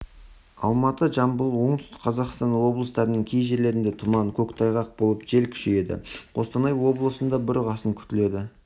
алматы жамбыл оңтүстік қазақстан облыстарының кей жерлерінде тұман көктайғақ болып жел күшейеді қостанай облысында бұрқасын күтіледі